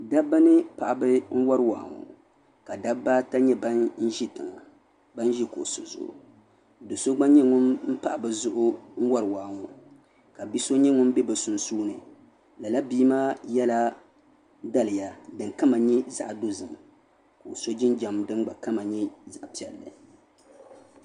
Dabba ni paɣaba n wari wahi ŋɔ ka dabbaata nye ban ʒi tiŋa do so gba nye ban pahi bɛ zuɣu n wari waa ŋɔ ka biso gba ʒi sunsuuni lala bii maa yela daliya din kama nye zaɣdozim ka o so jinjam din gba kama nye zaɣpiɛlli.